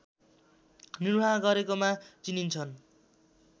निर्भाह गरेकोमा चिनिन्छन्